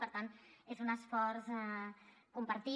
per tant és un esforç compartit